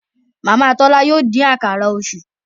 Màmá Tola yóò dín Àkàrà Òṣú.